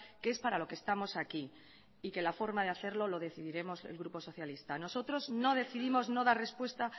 que es para lo que estamos aquí y que la forma de hacerlo lo decidiremos el grupo socialista nosotros no decidimos no dar respuesta